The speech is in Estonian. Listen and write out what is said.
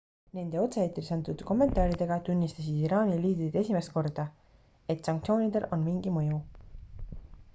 nende otse-eetris antud kommentaaridega tunnistasid iraani liidrid esimest korda et sanktsioonidel on mingi mõju